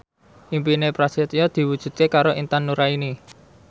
impine Prasetyo diwujudke karo Intan Nuraini